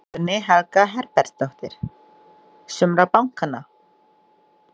Guðný Helga Herbertsdóttir: Sumra bankanna?